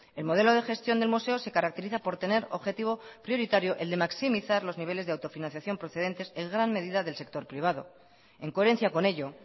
el modelo de gestión del museo se caracteriza por tener objetivo prioritario el de maximizar los niveles de autofinanciación procedentes en gran medida del sector privado en coherencia con ello